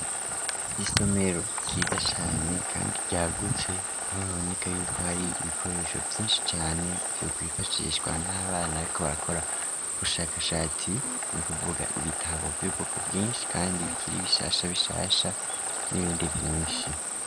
Isomero kyiza cane, kandi ryagutse aho baboneka yuko hari ibikoresho vyinshi cane vyukbifashishwa n'abana aiko barakora ugushakashatsi ni kuvuga ibitabo vy'ubwoko bwinshi, kandi bikiriye ibishasha bishasha n'ibindi binshi.